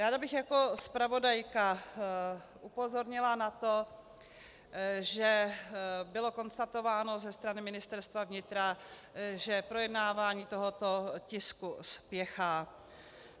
Ráda bych jako zpravodajka upozornila na to, že bylo konstatováno ze strany Ministerstva vnitra, že projednávání tohoto tisku spěchá.